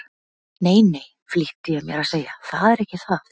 Nei, nei, flýtti ég mér að segja, það er ekki það.